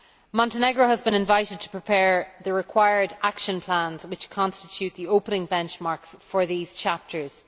Montenegro has been invited to prepare the required action plans which constitute the opening benchmarks for these chapters.